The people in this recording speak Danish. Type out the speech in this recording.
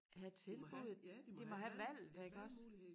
Have tilbuddet de må have et valg ja iggås